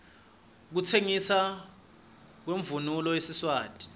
kutsengisna kwemounulo yesiswati